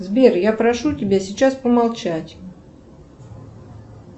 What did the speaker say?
сбер я прошу тебя сейчас помолчать